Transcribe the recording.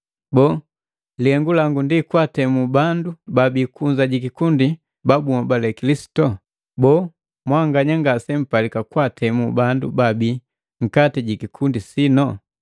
Boo, lihengu langu kwaatemu bandu babii kunza jikikundi ba bunhobali Kilisitu? Boo, mwanganya ngasempalika kwaatemu bandu baabii nkati jikikundi sino?